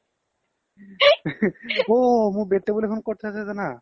অ মোৰ bed table এখন ক্'ত আছে যানা